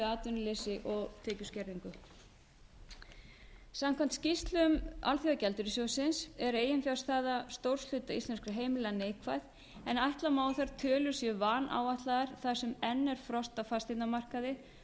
atvinnuleysi og tekjuskerðingu samkvæmt skýrslum alþjóðagjaldeyrissjóðsins er eiginfjárstaða stórs hluta íslenskra heimila neikvæð en ætla má að þær tölur séu vanáætlaðar þar sem enn er frost á fasteignamarkaði